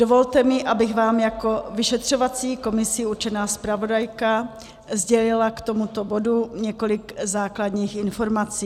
Dovolte mi, abych vám jako vyšetřovací komisí určená zpravodajka sdělila k tomuto bodu několik základních informací.